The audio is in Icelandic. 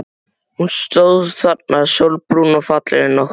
Hún stóð þarna, sólbrún og fallegri en nokkru sinni.